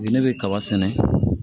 Ne bɛ kaba sɛnɛ